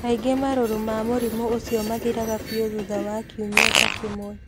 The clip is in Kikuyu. Kaingĩ marũrũ ma mũrimũ ũcio mathiraga biũ thutha wa kiumia ta kĩmwe.